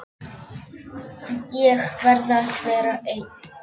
Ég verð að vera ein.